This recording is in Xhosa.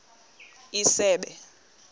isebe